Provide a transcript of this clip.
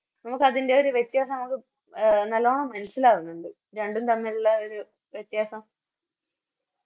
നമുക്കത്തിൻറെ ഒരു വ്യത്യാസം നമുക്ക് നല്ലോണം മനസ്സിലാവുന്നുണ്ട് രണ്ടും തമ്മിലുള്ള ആഒരു വ്യത്യാസം